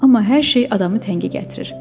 Amma hər şey adamı təngə gətirir.